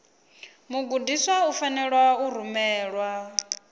mugudiswa u fanela u rumelwa